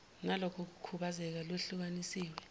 naloko kukhubazeka lehlukaniswe